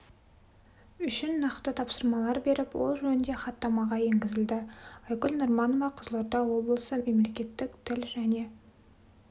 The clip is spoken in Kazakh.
үшін нақты тапсырмалар беріп ол жөнінде хаттамаға енгізілді айгүл нұрманова қызылорда облысы мемлекеттік тіл және